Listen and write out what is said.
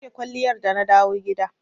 Na goge kwalliyar da na dawo gida.